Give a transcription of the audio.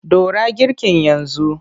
Ɗora girkin yanzu!